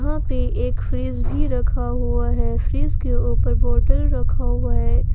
वहां पे एक फ्रिज भी रखा हुआ है फ्रिज के ऊपर बोटल रखा हुआ है।